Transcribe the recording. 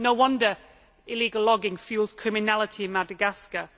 No wonder illegal logging fuels criminality in Madagascar.